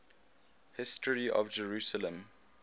history of jerusalem